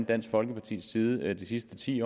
dansk folkepartis side de sidste ti